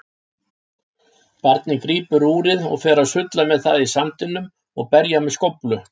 Barnið grípur úrið og fer að sulla með það í sandinum og berja með skóflu.